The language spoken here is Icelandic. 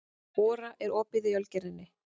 Ora, er opið í Ölgerðinni?